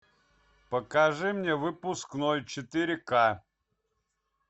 покажи мне выпускной четыре к